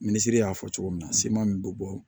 Minisiri y'a fɔ cogo min na seman min bɛ bɔ